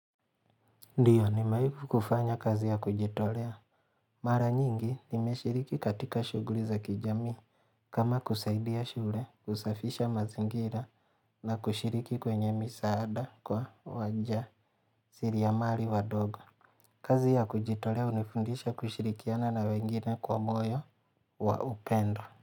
Ndiyo nimwai kufanya kazi ya kujitolea. Mara nyingi nimeshiriki katika shuguli za kijamii. Kama kusaidia shule, kusafisha mazingira na kushiriki kwenye misaada kwa wa njaa siriamali wa dogo. Kazi ya kujitolea hunifundisha kushirikiana na wengine kwa moyo wa upendo.